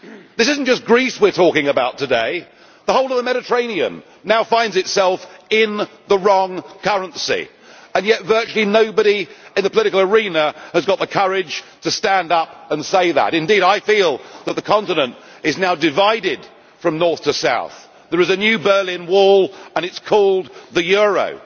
This is not just Greece we are talking about today the whole of the Mediterranean now finds itself in the wrong currency, and yet virtually nobody in the political arena has got the courage to stand up and say that. I feel that the continent is now divided from north to south there is a new Berlin Wall and it is called the euro'.